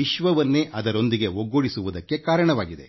ವಿಶ್ವವನ್ನೇ ಅದರೊಂದಿಗೆ ಒಗ್ಗೂಡಿಸಲು ಸಾಧ್ಯವಾಗಿದೆ